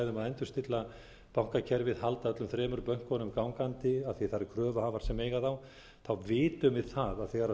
endurstilla bankakerfið halda öllum þremur bönkunum gangandi af því það eru kröfuhafar sem eiga þá vitum við það að